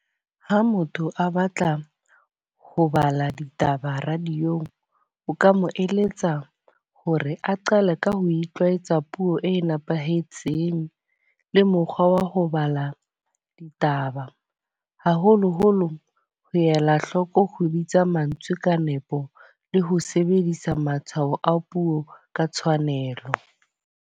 Ha motho a batla ho bala ditaba radio-ng, o ka mo eletsa hore a qale ka ho itlwaetsa puo e nepahetseng le mokgwa wa o ho bala ditaba. Haholo-holo ho ela hloko ho bitsa mantswe ka nepo, le ho sebedisa matshwao a puo ka tshwanelo.